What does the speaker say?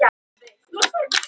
Þar er mokstur í biðstöðu